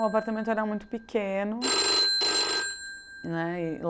O apartamento era muito pequeno, né e